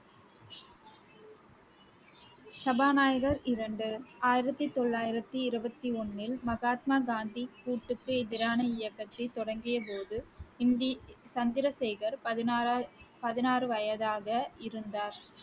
சபாநாயகர் இரண்டு, ஆயிரத்தி தொள்ளாயிரத்தி இருபத்தி ஒண்ணில் மகாத்மா காந்தி எதிரான இயக்கத்தை தொடங்கியபோது சந்திரசேகர் பதினாறாவது பதினாறு வயதாக இருந்தார்